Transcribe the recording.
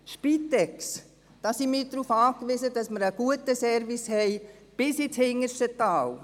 Bei der Spitex, da sind wir darauf angewiesen, dass wir einen guten Service haben, bis ins hinterste Tal.